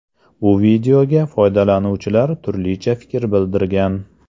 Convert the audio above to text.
Bu videoga foydalanuvchilar turlicha fikr bildirgan.